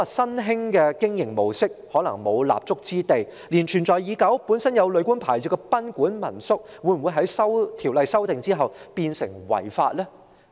莫說新興的經營模式可能無立足之地，甚至是存在已久、本身已擁有旅館牌照的賓館和民宿，在《條例草案》修訂後也可能變成違法。